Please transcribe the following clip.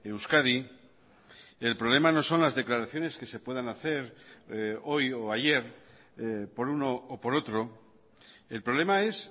euskadi el problema no son las declaraciones que se puedan hacer hoy o ayer por uno o por otro el problema es